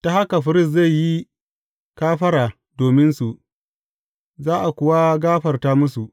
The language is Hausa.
Ta haka firist zai yi kafara dominsu, za a kuwa gafarta musu.